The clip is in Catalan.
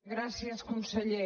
gràcies conseller